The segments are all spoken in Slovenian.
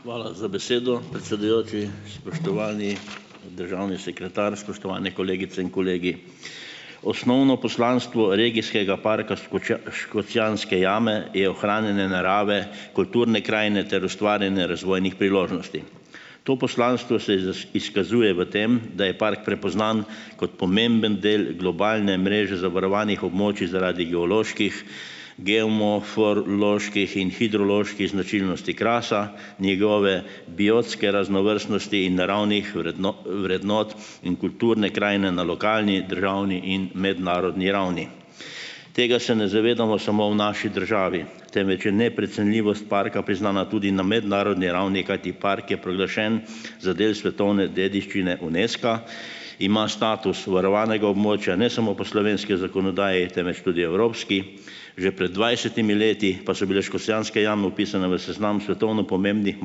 Hvala za besedo, predsedujoči, spoštovani državni sekretar, spoštovane kolegice in kolegi. Osnovno poslanstvo regijskega parka Škocjanske jame je ohranjanje narave, kulturne krajine ter ustvarjanje razvojnih priložnosti, to poslanstvo se izkazuje v tem, da je park prepoznan kot pomemben del globalne mreže zavarovanih območij zaradi geoloških, geomoforloških in hidroloških značilnosti Krasa, njegove biotske raznovrstnosti in naravnih vrednot in kulturne krajine na lokalni, državni in mednarodni ravni. Tega se ne zavedamo samo v naši državi, temveč je neprecenljivost parka priznana tudi na mednarodni ravni, kajti park je proglašen za del svetovne dediščine Unesca, ima status varovanega območja ne samo po slovenski zakonodaji, temveč tudi evropski, že pred dvajsetimi leti pa so bile Škocjanske jame vpisane v seznam svetovno pomembnih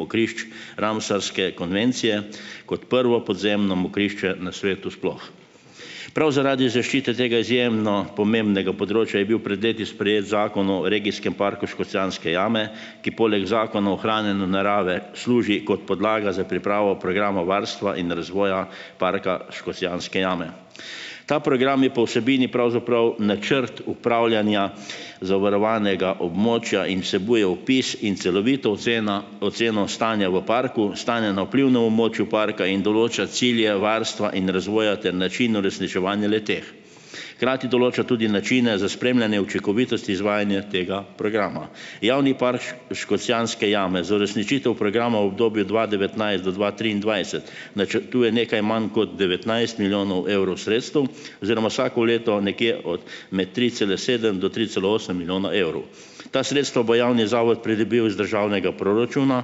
mokrišč Ramsarske konvencije kot prvo podzemno mokrišče na svetu sploh. Prav zaradi zaščite tega izjemno pomembnega področja je bil pred leti sprejet zakon o regijskem parku Škocjanske jame, ki poleg zakona ohranjanja narave služi kot podlaga za pripravo programa varstva in razvoja Parka Škocjanske jame. Ta program je po vsebini pravzaprav načrt upravljanja zavarovanega območja in vsebuje opis in celovito ocenjena oceno stanja v parku, stanja na vplivnem območju parka in določa cilje varstva in razvoja ter način uresničevanja le-teh, hkrati določa tudi načine za spremljanje učinkovitosti izvajanja tega programa. Javni park Škocjanske jame za uresničitev programa obdobja dva devetnajst do dva triindvajset načrtuje nekaj manj kot devetnajst milijonov evrov sredstev oziroma vsako leto nekje od med tri cela sedem do tri cela osem milijona evrov. Ta sredstva bo javni zavod pridobil iz državnega proračuna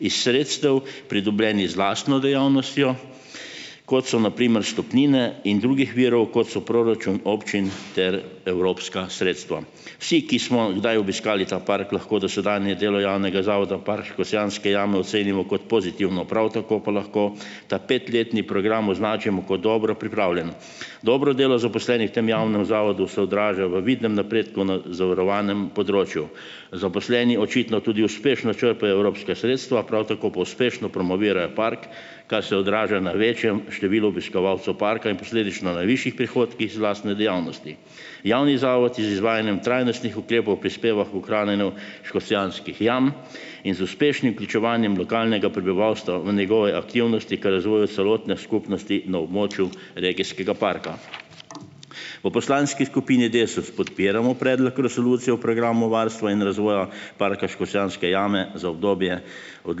iz sredstev, pridobljenih z lastno dejavnostjo, kot so na primer vstopnine, in drugih virov, kot so proračun občin ter evropska sredstva. Vsi, ki smo kdaj obiskali ta park, lahko dosedanje delo javnega zavoda v Park Škocjanske jame ocenimo kot pozitivno, prav tako pa lahko ta petletni program označimo kot dobro pripravljen, dobro delo zaposlenih v tem javnem zavodu se odraža v vidnem napredku v zavarovanem področju, zaposleni očitno tudi uspešno črpajo evropska sredstva, prav tako pa uspešno promovirajo park, kar se odraža na večjem številu obiskovalcev parka in posledično na višjih prihodkih iz lastne dejavnosti. Javni zavod je z izvajanjem trajnostnih ukrepov prispeval k ohranjanju Škocjanskih jam in z uspešnim vključevanjem lokalnega prebivalstva v njegove aktivnosti ter razvoju celotne skupnosti na območju regijskega parka. V poslanski skupini Desus podpiramo predlog resolucije o programu varstva in razvoja parka Škocjanske jame za obdobje od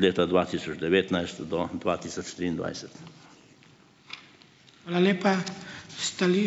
leta dva tisoč devetnajst do dva tisoč triindvajset. Hvala lepa, v ...